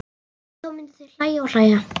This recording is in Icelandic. Og þá myndu þau hlæja og hlæja.